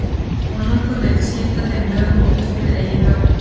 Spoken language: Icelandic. Konungur vildi skipta þeim lögum út fyrir eigin lögbók.